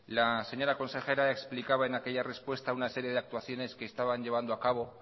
la señora consejera explicaba en aquella respuesta una serie de actuaciones que estaban llevando a cabo